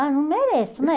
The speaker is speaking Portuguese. Ah, não mereço, né?